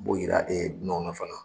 B'o yiira ee dunanw na fana .